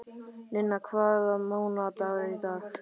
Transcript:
Ninna, hvaða mánaðardagur er í dag?